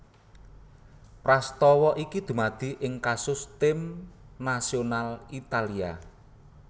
Prastawa iki dumadi ing kasus Tim nasional Italia